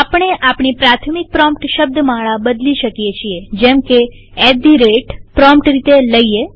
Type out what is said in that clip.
આપણે આપણી પ્રાથમિક પ્રોમ્પ્ટ શબ્દમાળા બદલી શકીએ છીએ જેમકે એટ ધી રેટltgt પ્રોમ્પ્ટ રીતે લઈએ